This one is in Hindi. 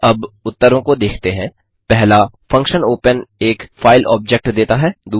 अतः अब उत्तरों को देखते हैं 1फंक्शन ओपन एक फाइल ऑब्जेक्ट देता है